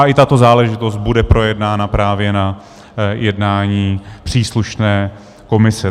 A i tato záležitost bude projednána právě na jednání příslušné komise.